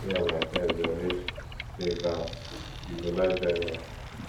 me and my friends dey always play cards you go like join us